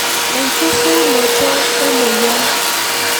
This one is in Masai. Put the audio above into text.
Enchukunoto emoyian.